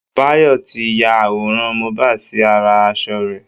Bayọ̀ ti ya àwòrán Mohbad sí ara asọ rẹ̀